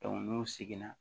n'u seginna